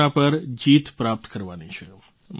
corona પર જીત પ્રાપ્ત કરવાની છે